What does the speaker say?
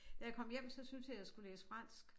Da jeg kom hjem så syntes jeg jeg skulle læse fransk